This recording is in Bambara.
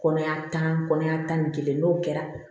Kɔnɔya tan kɔnɔya tan ni kelen n'o kɛra